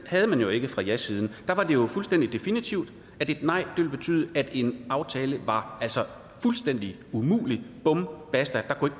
havde man jo ikke fra jasiden der var det jo fuldstændig definitivt at et nej ville betyde at en aftale var fuldstændig umulig bum basta der kunne